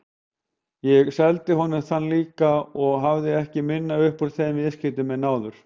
Ég seldi honum þennan líka og hafði ekki minna upp úr þeim viðskiptum en áður.